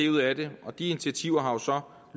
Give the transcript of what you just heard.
ud af det de initiativer har så